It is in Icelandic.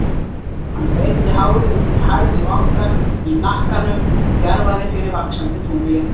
Hann greiddi hárið út í hægri vangann, í hnakkanum djarfaði fyrir vaxandi tungli.